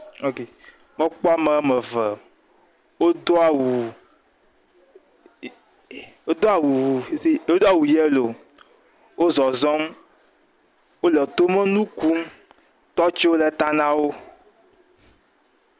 Ɔ k. Mekpɔ ame wɔme eve wodoa awu i i wodoa wu i si wodo awu yelo wo zɔzɔm, wole tomenu kum. Tɔtsiwo le ta na wo.